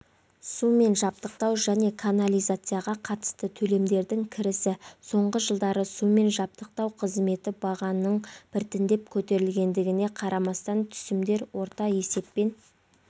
сумен жабдықтау және канализацияға қатысты төлемдердің кірісі соңғы жылдары сумен жабдықтау қызметі бағаның біртіндеп көтерілгендігіне қарамастан түсімдер орта есеппен